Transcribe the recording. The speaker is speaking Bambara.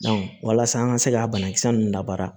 walasa an ka se ka banakisɛ ninnu labara